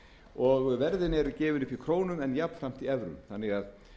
og verðin eru gefin upp í krónum en jafnframt í evrum þannig að